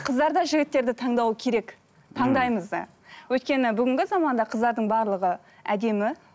қыздар да жігіттерді таңдауы керек таңдаймыз да өйткені бүгінгі заманда қыздардың барлығы әдемі